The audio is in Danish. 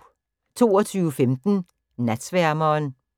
22:15: Natsværmeren